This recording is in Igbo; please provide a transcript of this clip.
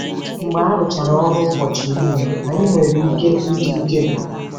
Mgbe arụchara ọrụ ụbọchị niile, anyị nwere ike ịdị ike gwụrụ.